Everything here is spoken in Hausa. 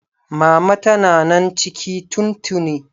Mama tana nan ciki tun tuni.